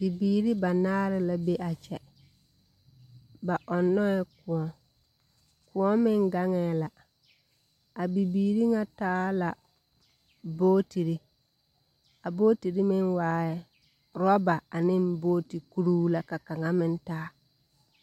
Bibiiri banaare la be a kyɛ. Ba ɔnnɔɛ kõɔ. Kõɔ meŋ gaŋɛɛ la. A bibiiri ŋa taaɛ la bootiri. A bootiri meŋ waaɛ orɔba aneŋ bootikuruu la ka kaŋa meŋ taa.